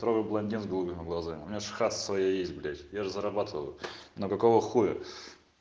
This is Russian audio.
трое блондин с голубыми глазами у меня хата своя есть блять я же зарабатываю но какого хуя